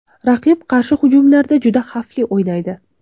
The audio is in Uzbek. Raqib qarshi hujumlarda juda xavfli o‘ynaydi.